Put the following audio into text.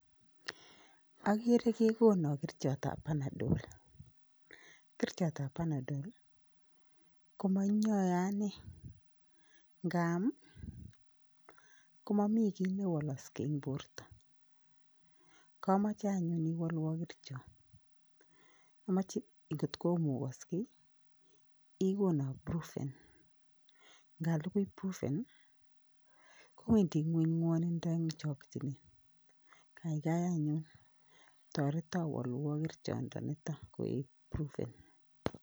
Okere kekonon kerichot ab panadol komoiyoyon anee ikaam komomii kit newolokse en borto komoche anyun iwolwon kerichot omoche ikotkomukokse ikonon prufen ikalukui prufen kowendii ngueny nwonindo en chokinet kaikai anyun toreton wolwon kerichot ndoniton koik prufen.